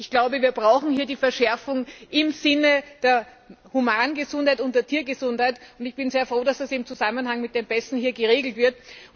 Das heißt, wir brauchen hier die Verschärfung im Sinne der Humangesundheit und der Tiergesundheit, und ich bin sehr froh, dass das im Zusammenhang mit den Pässen hier geregelt wird.